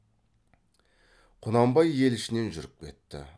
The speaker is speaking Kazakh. құнанбай ел ішінен жүріп кетті